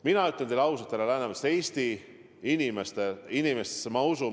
Mina ütlen teile ausalt, härra Läänemets, Eesti inimestesse ma usun.